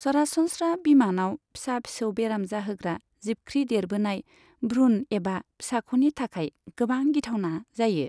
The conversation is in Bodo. सरासनस्रा, बिमानाव फिसा फिसौ बेराम जाहोग्रा जिबख्रि देरबोनाय भ्रुण एबा फिसाख'नि थाखाय गोबां गिथावना जायो।